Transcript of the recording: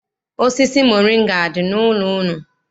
Osisi moringa adị n'ụlọ unu?